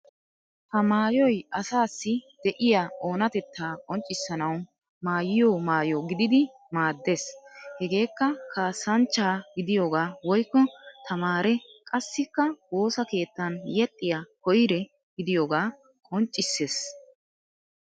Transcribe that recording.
Ha maayoy asaassi de'iyaa oonatettaa qonccissanawu maayyiyo maayo gididi maaddeees. Hegeekka kaassanchcha gidiyooga woykko tamaare qassikka woosa keettan yexxiya koyre gidiyoogaa qonccissees.